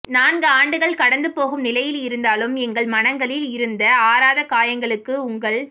நான்கு ஆண்டுகள் கடந்து போகும் நிலையில் இருந்தாலும் எங்கள் மனங்களில் இருந்த ஆறாத காயங்களுக்கு உங்கள்